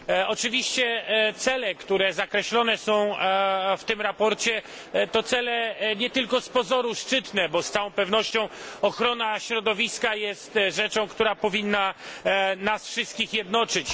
Oczywiście cele, które zakreślone są w tym sprawozdaniu, to cele nie tylko z pozoru szczytne, bo z całą pewnością ochrona środowiska jest rzeczą, która powinna nas wszystkich jednoczyć.